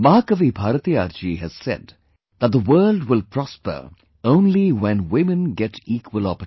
Mahakavi Bharatiyar ji has said that the world will prosper only when women get equal opportunities